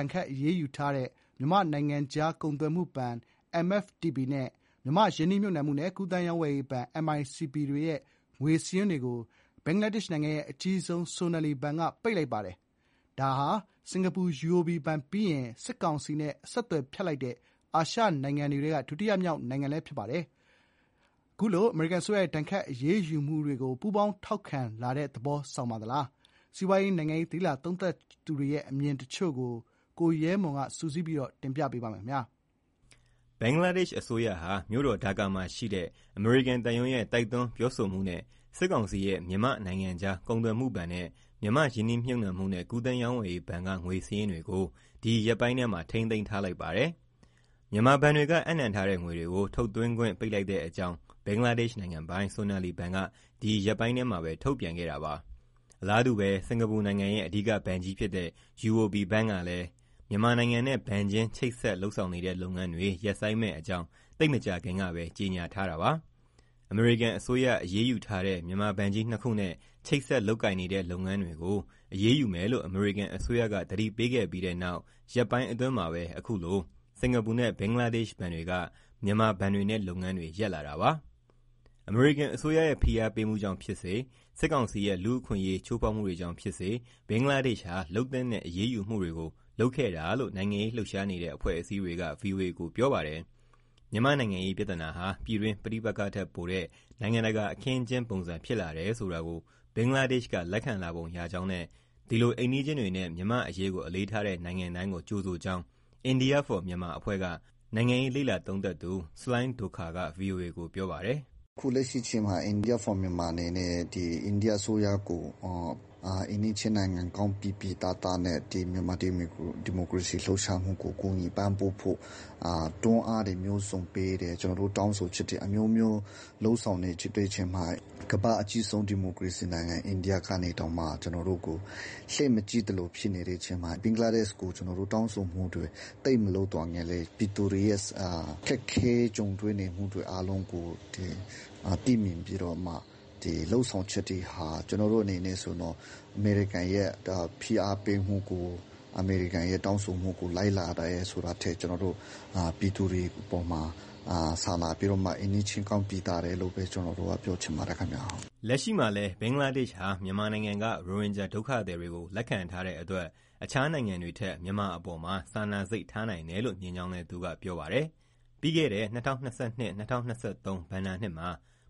ဏ်ခတ်အရေးယူထားတဲ့ မြန်မာ့နိုင်ငံခြားကုန်သွယ်မှုဘဏ် နဲ့ မြန်မာ့ ရင်းနှီးမြှုပ်နှံမှုနဲ့ ကူးသန်းရောင်းဝယ်ရေးဘဏ် တွေရဲ့ ငွေစာရင်းတွေကို ဘင်္ဂလားဒေ့ရှ်နိုင်ငံရဲ့အကြီးဆုံး Sonali ဘဏ်က ပိတ်လိုက်ပါတယ်။ ဒါဟာ စင်္ကာပူ UOB ဘဏ်ပြီးရင် စစ်ကောင်စီနဲ့ အဆက်အသွယ်ဖြတ်တဲ့ အာရှနိုင်ငံတွေထဲက ဒုတိယမြောက် နိုင်ငံလည်း ဖြစ်ပါတယ်။ ဒါဟာ အမေရိကန်အစိုးရရဲ့ ဒဏ်ခတ် အရေးယူမှုတွေကို ပူးပေါင်း ထောက်ခံတဲ့ သဘောပါလား။ စီးပွားရေး၊ နိုင်ငံရေး လေ့လာသုံးသပ်သူတွေရဲ့ အမြင်တချို့ကို ကိုရဲမွန်က တင်ပြပေးထားပါတယ်။ ဘင်္ဂလားဒေ့ရှ်အစိုးရဟာ မြို့တော်ဒါကာမှာရှိတဲ့ အမေရိကန်သံရုံးရဲ့တိုက်တွန်း ပြောဆိုမှုအရ စစ်ကောင်စီရဲ့ မြန်မာ့နိုင်ငံခြားကုန်သွယ်မှုဘဏ်နဲ့ မြန်မာ့ ရင်းနှီးမြှုပ်နှံမှုနဲ့ ကူးသန်းရောင်းဝယ်ရေးဘဏ်က ငွေစာရင်းတွေကို ဒီရက်ပိုင်းထဲမှာ ထိန်းသိမ်းထားလိုက်ပါတယ်။ မြန်မာဘဏ်တွေက အပ်နှံထားတဲ့ငွေတွေကို ထုတ်သွင်းခွင့်ပိတ်လိုက်တဲ့အကြောင်း ဘင်္ဂလားဒေ့ရှ် နိုင်ငံပိုင် Sonali ဘဏ်က ဒီရက်ပိုင်းထဲမှာပဲ ထုတ်ပြန်ခဲ့တာပါ။ အလားတူ စင်္ကာပူနိုင်ငံရဲ့ အဓိကဘဏ်ကြီးဖြစ်တဲ့ UOB ဘဏ်ကလည်း မြန်မာနိုင်ငံနဲ့ ဘဏ်ချင်းချိတ်ဆက်လုပ်ဆောင်နေတဲ့ လုပ်ငန်းတွေ ရပ်ဆိုင်းမယ့်အကြောင်း သိပ်မကြာခင်ကပဲ ကြေညာထားတာပါ။ အမေရိကန်အစိုးရ အရေးယူထားတဲ့ မြန်မာဘဏ်ကြီးနှစ်ခုနဲ့ ချိတ်ဆက်လုပ်ကိုင်နေတဲ့လုပ်ငန်းတွေကို အရေးယူမယ်လို့ အမေရိကန်အစိုးရက သတိပေးခဲ့ပြီးတဲ့နောက် ရက်ပိုင်းအတွင်းမှာပဲ အခုလို စင်ကာပူနဲ့ ဘင်္ဂလားဒေ့ရှ်ဘဏ်တွေက မြန်မာဘဏ်တွေနဲ့ လုပ်ငန်းတွေ ရပ်လာတာပါ။ အမေရိကန်အစိုးရဲ့ ဖိအားပေးမှုကြောင့်ဖြစ်စေ၊ စစ်ကောင်စီရဲ့လူ့အခွင့်အရေး ချိုးဖောက်မှုတွေကြောင့်ဖြစ်စေ ဘင်္ဂလားဒေ့ရှ်ဟာ လုပ်သင့်တဲ့အရေးယူမှုတွေကို လုပ်ခဲ့တာလို့ နိုင်ငံရေးလှုပ်ရှားနေတဲ့ အဖွဲ့အစည်းတွေက ဗွီအိုအေကို ပြောပါတယ်။ မြန်မာ့နိုင်ငံရေးပြဿနာဟာ ပြည်တွင်းပဋိပက္ခထက်ပိုတဲ့ နိုင်ငံတကာ အခင်းအကျင်းပုံစံဖြစ်လာတယ်ဆိုတာကို ဘင်္ဂလားဒေ့ရှ်ကလက်ခံလာပုံ ရကြောင်းနဲ့ ဒီလို အိမ်နီးချင်းတွေနဲ့ မြန်မာ့အရေးကိုအလေးထားတဲ့ နိုင်ငံတိုင်းကို ကြိုဆိုကြောင်း India for Myanmar အဖွဲ့က နိုင်ငံရေး လေ့လာသုံးသပ်သူ ဆလိုင်းဒိုခါရ်က ဗွီအိုအေကို ပြောပါတယ်။ "လက်ရှိအချိန်မှာ India for Myanmar အနေနဲ့ အိန္ဒိယအစိုးရကို အိမ်နီးချင်းကောင်းပီပီသသ မြန်မာ့ဒီမိုကရေစီလှုပ်ရှားမှုကို ပံ့ပိုးဖို့ တွန်းအားတွေ မျိုးစုံပေးတယ်။ တောင်းဆိုချက်တွေ အမျိုးမျိုးလုပ်ဆောင်နေချိန်မှာ ကမ္ဘာ့အကြီးဆုံး ဒီမိုကရေစီ အိန္ဒိယကတောင်မှ ကျနော်တို့ကိုလှည့်မကြည့်သလိုဖြစ်နေတဲ့အချိန်မှာ ဘင်္ဂလားဒေ့ရှ်ကို တောင်းဆိုမှုတွေသိပ်မလုပ်သော်ငြားလည်း ပြည်သူတွေရဲ့ ခက်ခဲ ကြုံတွေနေမှုတွေ အားလုံးကိုသိမြင်ပြီး လုပ်ဆောင်ချက်တွေဟာ အမေရိကန်ရဲ့ဖိအားပေးမှုကို၊ အမေရိကန်ရဲ့တောင်းဆိုမှုကို လိုက်လာတယ်ဆိုတာထက် ကျနော်တို့ ပြည်သူတွေအပေါ်မှာ စာနာပြီးတော့ အိမ်နီးချင်းကောင်းပီသတယ်လို့ ပြောချင်ပါတယ်။" လက်ရှိမှာလည်း ဘင်္ဂလားဒေ့ရှ်ဟာ မြန်မာနိုင်ငံက ရိုဟင်ဂျာဒုက္ခသည်တွေကို လက်ခံထားတဲ့အတွက် တခြားနိုင်ငံတွေထက် မြန်မာအပေါ်မှာ စာနာစိတ်ထားနိုင်တယ်လို့ မြင်ကြောင်းလည်း သူက ပြောပါတယ်။ ပြီးခဲ့တဲ့ ၂၀၂၂-၂၀၂၃ ဘဏ္ဍာနှစ်မှာ